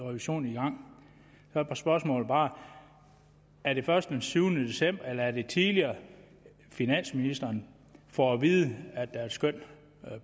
revision i gang er spørgsmålet bare er det først den syvende december eller er det tidligere at finansministeren får at vide at der er et skøn